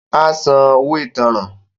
Á san “ owó ìtanràn ”.